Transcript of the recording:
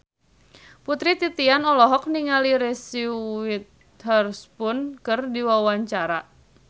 Putri Titian olohok ningali Reese Witherspoon keur diwawancara